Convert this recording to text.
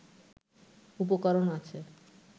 উপকরণ আছে